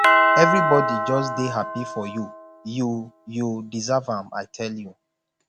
everybody just dey happy for you you you deserve am i tell you